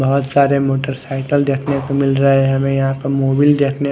बहोत सारे मोटसाईकिल देखने को मिल रहे है हमे यहा पे मुविल देखने--